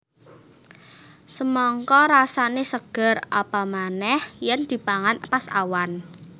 Semangka rasané seger apa manéh yèn dipangan pas awan